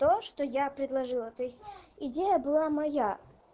то что я предложила то есть идея была моя